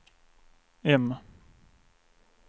M